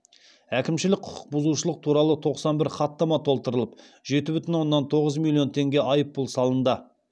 әкімшілік құқық бұзушылық туралы тоқсан бір хаттама толтырылып жеті бүтін оннан тоғыз миллион теңге айыппұл салынды